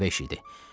Qəribə iş idi.